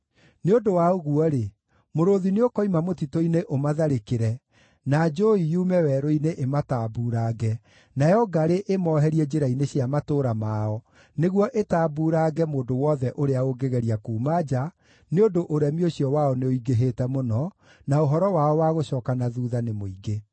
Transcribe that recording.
Nĩ ũndũ wa ũguo-rĩ, mũrũũthi nĩũkoima mũtitũ-inĩ ũmatharĩkĩre, na njũũi yume werũ-inĩ ĩmatambuurange, nayo ngarĩ ĩmooherie njĩra-inĩ cia matũũra mao, nĩguo ĩtambuurange mũndũ wothe ũrĩa ũngĩgeria kuuma nja, nĩ ũndũ ũremi ũcio wao nĩũingĩhĩte mũno, na ũhoro wao wa gũcooka na thuutha nĩ mũingĩ.